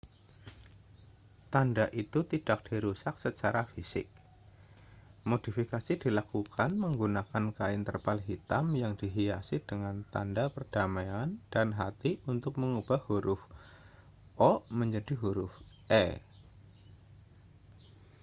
tanda itu tidak dirusak secara fisik modifikasi dilakukan menggunakan kain terpal hitam yang dihias dengan tanda perdamaian dan hati untuk mengubah huruf o menjadi huruf e